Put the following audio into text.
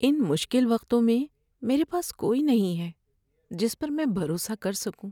ان مشکل وقتوں میں میرے پاس کوئی نہیں ہے جس پر میں بھروسہ کر سکوں۔